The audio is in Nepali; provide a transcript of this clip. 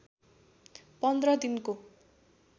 पन्ध्र दिनको